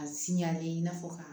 A sinyanlen i n'a fɔ ka